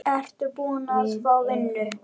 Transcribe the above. Ertu búin að fá vinnu?